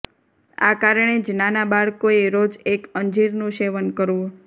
આ કારણે જ નાનાં બાળકોએ રોજ એક અંજીરનું સેવન કરવું